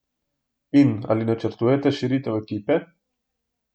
In ali načrtujete širitev ekipe?